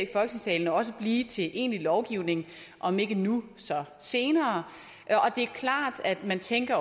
i også blive til egentlig lovgivning om ikke nu så senere det er klart at man tænker